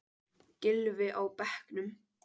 Gylfi á bekknum